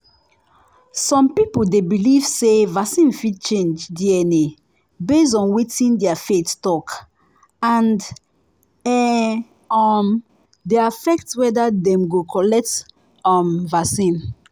some people dey believe say vaccine fit change dna base on wetin their faith talk and um um dey affect whether dem go collect um vaccine.